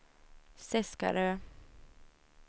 Seskarö